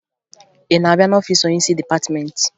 Ị na-abịa n'ọfiisi onyeisi dịpatịmentị?